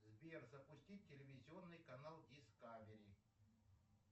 сбер запустить телевизионный канал дискавери